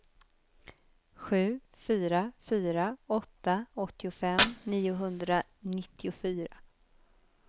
sju fyra fyra åtta åttiofem niohundranittiofyra